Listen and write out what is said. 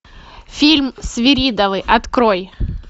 фильм свиридовы открой